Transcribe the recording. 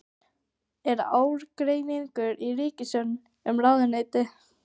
Er ágreiningur í ríkisstjórninni um ráðuneytið?